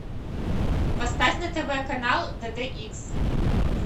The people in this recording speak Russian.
поставь на тв канал дэ дэ икс